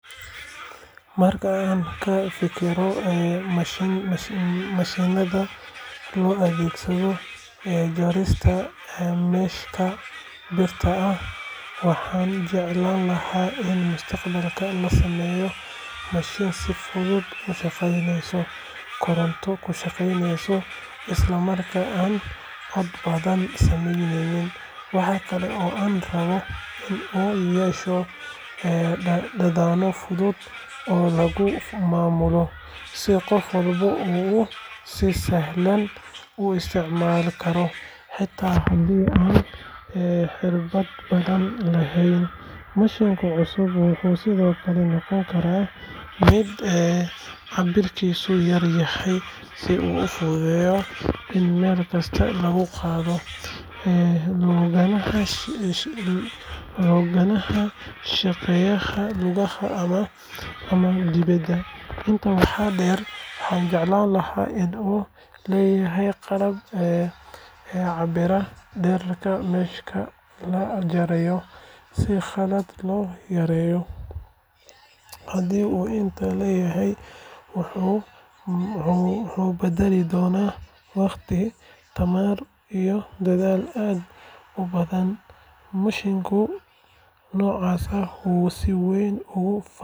Marka aan ka fikiro mashiinnada loo adeegsado jarista mesh-ka birta ah, waxaan jeclaan lahaa in mustaqbalka la sameeyo mashiin si fudud u shaqeynaya, koronto ku shaqeeya, isla markaana aan cod badan samaynin. Waxa kale oo aan rabaa in uu yeesho badhano fudud oo lagu maamulo, si qof walba uu si sahlan u isticmaali karo xitaa haddii aanu khibrad badan lahayn. Mashiinka cusub wuxuu sidoo kale noqon karaa mid cabbirkiisu yar yaay si uu u fududaado in meel kasta lagu qaado, loogana shaqeeyo gudaha ama dibedda. Intaa waxaa dheer, waxaan jeclaan lahaa in uu leeyahay qalab cabbiraya dhererka mesh-ka la jarayo si khalad loo yareeyo. Haddii uu intaa leeyahay, wuxuu badbaadin doonaa waqti, tamar iyo dadaal aad u badan. Mashiin noocaas ah wuxuu si weyn.